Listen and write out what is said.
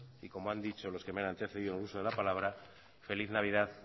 y como han dicho los que me han antecedido en el uso de la palabra feliz navidad